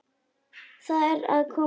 Það er að koma maí.